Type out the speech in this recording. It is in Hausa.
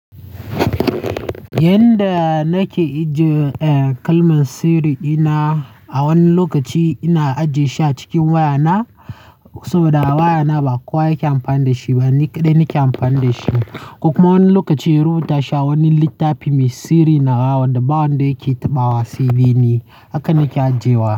Yanda nake ajiye kalman sirri dina, a wani lokaci ina ajiye shi a cikin wayana saboda wayana ba kowa yake amfani da shi ba, dai ni yake amfani da shi. Kuka kuma wani lokaci Ro ta sha wani littafi mai sirri na kawo wanda ba wanda yake taɓa wasai dai ni, haka nake ajiyewa.